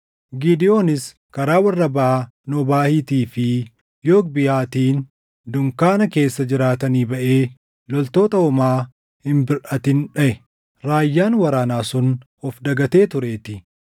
Gidewoonis karaa warra baʼa Noobaahiitii fi Yogbihaatiin dunkaana keessa jiraatanii baʼee loltoota homaa hin birʼatin dhaʼe; raayyaan waraanaa sun of dagatee tureetii.